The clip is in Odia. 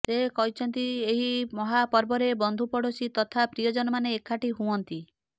ସେ କହିଛନ୍ତି ଏହି ମହାପର୍ବରେ ବନ୍ଧୁ ପଡ଼ୋଶୀ ତଥା ପ୍ରିୟଜନମାନେ ଏକାଠି ହୁଅନ୍ତି